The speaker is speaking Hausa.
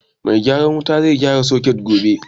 Mai gyaran wuta zai gyara soket gobe